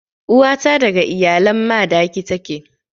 Uwa ta daga iyalan Madaki take.